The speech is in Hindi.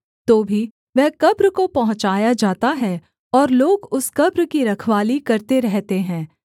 तो भी वह कब्र को पहुँचाया जाता है और लोग उस कब्र की रखवाली करते रहते हैं